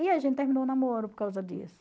E a gente terminou o namoro por causa disso.